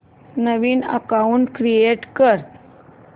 नवीन account create कर